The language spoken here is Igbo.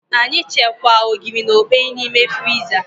Anyị chekwaa Ogiri na okpeyi na ime friza